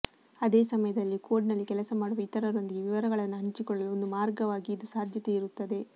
ಅದೇ ಸಮಯದಲ್ಲಿ ಕೋಡ್ನಲ್ಲಿ ಕೆಲಸ ಮಾಡುವ ಇತರರೊಂದಿಗೆ ವಿವರಗಳನ್ನು ಹಂಚಿಕೊಳ್ಳಲು ಒಂದು ಮಾರ್ಗವಾಗಿ ಇದು ಸಾಧ್ಯತೆ ಇರುತ್ತದೆ